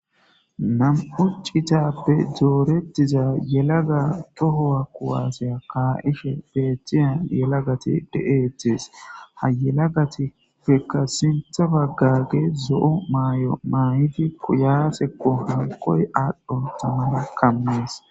Nam7uccitappe doorettiza yelaga tohowa kuwaaseya kaa7ishe beetiyan yelagati de7eetes ha yelagatippekka sintha baggage zo7o maay7o maayidi kuyasekko halkoy aadhdhon tamana kammees.